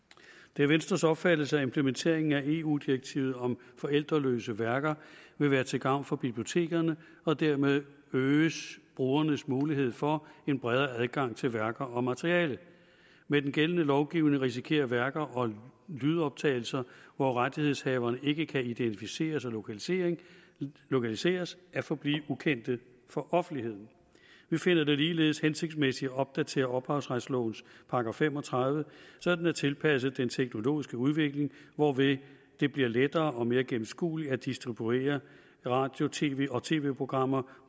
det er venstres opfattelse at implementeringen af eu direktivet om forældreløse værker vil være til gavn for bibliotekerne og dermed øge brugernes mulighed for en bredere adgang til værker og materiale med den gældende lovgivning risikerer værker og lydoptagelser hvor rettighedshaverne ikke kan identificeres og lokaliseres lokaliseres at forblive ukendte for offentligheden vi finder det ligeledes hensigtsmæssigt at opdatere ophavsretslovens § fem og tredive så den er tilpasset den teknologiske udvikling hvorved det bliver lettere og mere gennemskueligt at distribuere radio tv og tv programmer